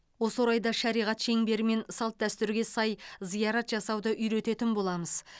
осы орайда шариғат шеңбері мен салт дүстүрге сай зиярат жасауды үйрететін боламыз